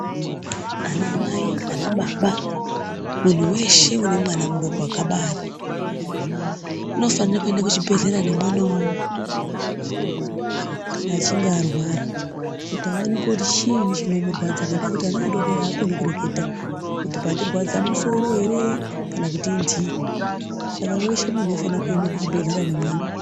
Anamai anababa munhu weshe une mwana mudoko wakabara unofane kuende kuchibhelra nemwanawo kana achinge arwara kuti aoneke kuti chiinyi chinomurwadza ngendaa yekuti ana adodori akoni kureketa kuti pandirwadza musoro ere kana kuti inthii, saka wese muntu unofanire kuende kuchibhelera nemwana.